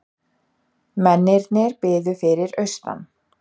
Mennirnir biðu fyrir austan.